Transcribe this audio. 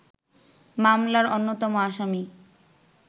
মামলার অন্যতম আসামি